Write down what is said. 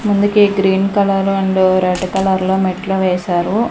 ముందుకి green colour and red కలర్లో మెట్లు వేశారు.